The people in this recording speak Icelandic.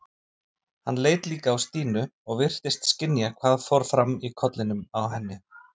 Hann leit líka á Stínu og virtist skynja hvað fór fram í kollinum á henni.